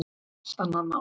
Allt annað mál.